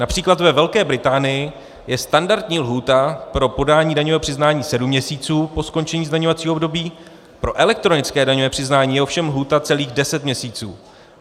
Například ve Velké Británii je standardní lhůta pro podání daňového přiznání sedm měsíců po skončení zdaňovacího období, pro elektronické daňové přiznání je ovšem lhůta celých deset měsíců.